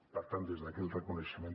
per tant des d’aquí el reconeixement